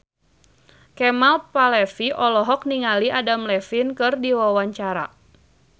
Kemal Palevi olohok ningali Adam Levine keur diwawancara